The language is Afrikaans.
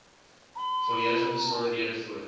volledige besonderhede voor